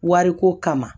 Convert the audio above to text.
Wariko kama